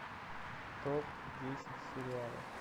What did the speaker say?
топ десять сериалов